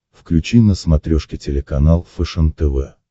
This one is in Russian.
включи на смотрешке телеканал фэшен тв